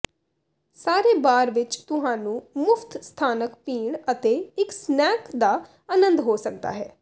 ਸਾਰੇ ਬਾਰ ਵਿੱਚ ਤੁਹਾਨੂੰ ਮੁਫਤ ਸਥਾਨਕ ਪੀਣ ਅਤੇ ਇੱਕ ਸਨੈਕ ਦਾ ਆਨੰਦ ਹੋ ਸਕਦਾ ਹੈ